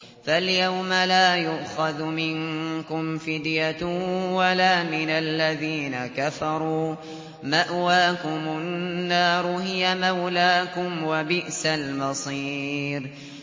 فَالْيَوْمَ لَا يُؤْخَذُ مِنكُمْ فِدْيَةٌ وَلَا مِنَ الَّذِينَ كَفَرُوا ۚ مَأْوَاكُمُ النَّارُ ۖ هِيَ مَوْلَاكُمْ ۖ وَبِئْسَ الْمَصِيرُ